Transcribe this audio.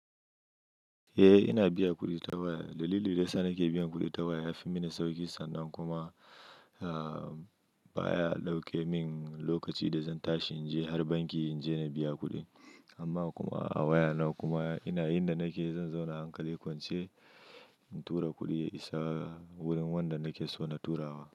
Eh ina biya kuɗi ta waya. Dalilin da yana sa nake biyan kuɗi ta waya ya fi mini sauƙi sannan kuma baya ɗauke min lokaci da zan tashi in je har banki in je na biya kuɗi. Amma kuma a wayana kuma ina inda nake zan zauna hankali kwance in tura kuɗi ya isa wurin wanda nake so na tura wa.